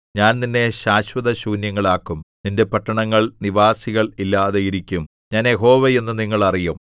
ഞാൻ നിന്നെ ശാശ്വതശൂന്യങ്ങളാക്കും നിന്റെ പട്ടണങ്ങൾ നിവാസികൾ ഇല്ലാതെയിരിക്കും ഞാൻ യഹോവ എന്ന് നിങ്ങൾ അറിയും